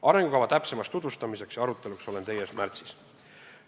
Arengukava täpsemaks tutvustamiseks ja aruteluks olen teie ees märtsis.